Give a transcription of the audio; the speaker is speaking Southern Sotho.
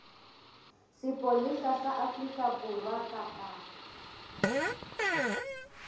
sepolesa sa afrika borwa kapa